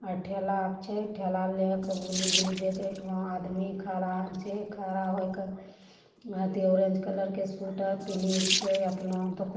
टेला छे टेला लेके आदमी खड़ा खड़ा होइके ऑरेंज कलर के स्वेटर पेहने छे।